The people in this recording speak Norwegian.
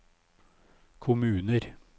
kommuner